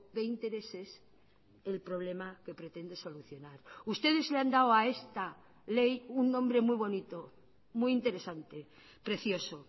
de intereses el problema que pretende solucionar ustedes le han dado a esta ley un nombre muy bonito muy interesante precioso